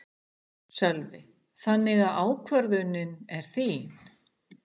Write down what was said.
Sölvi: Þannig að ákvörðunin er þín?